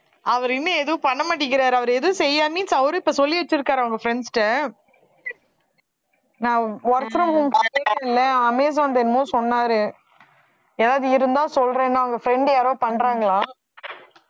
அவர் இன்னும் எதுவும் பண்ண மாட்டேங்கிறாரு அவரு எதுவும் செய்யாம அவரு இப்ப சொல்லி வச்சிருக்காரு அவங்க friends கிட்ட நான் work from home பண்ணிட்டு இருந்தே அமேசான்து என்னமோ சொன்னாரு எதாவது இருந்தா சொல்றேன்னா அவங்க friend யாரோ பண்றாங்களாம்